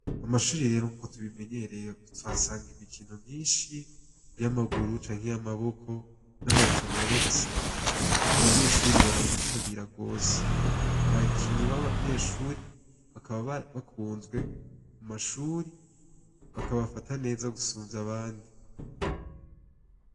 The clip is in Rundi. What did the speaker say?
Amashuri rero nkuko tubimenyereye tuhasanga imikino myinshi, y’amaguru canke y’amaboko, n’amarushanwa rero ugasanga ,abanyeshure barayitabira gose. Abakinyi babanyeshure bakaba bakunzwe kumashure ,bakabafata neza gusumvy’ abandi.